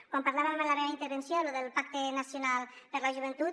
quan parlava en la meva intervenció del pacte nacional per a la joventut